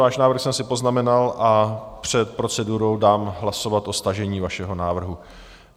Váš návrh jsem si poznamenal a před procedurou dám hlasovat o stažení vašeho návrhu.